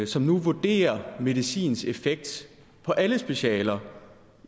som nu vurderer medicins effekt på alle specialer